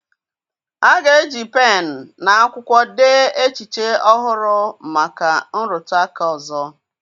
A ga-eji pen na akwụkwọ dee echiche ọhụrụ maka nrụtụ aka ọzọ